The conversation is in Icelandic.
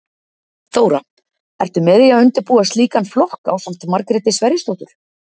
Þóra: Ertu með í að undirbúa slíkan flokk ásamt Margréti Sverrisdóttur?